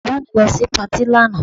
Bàbá mi lọ sí patí lánàá